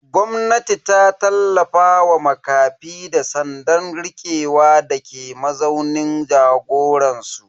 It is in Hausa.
Gwamnatin ta tallafa wa makafi da tsandan rikewa dake mazaunin jagoransu.